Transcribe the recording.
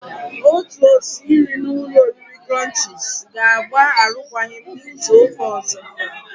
Otu osi nri na ụlọ oriri krọnchiz ga-agba arụkwagi m n'izu uka ozo.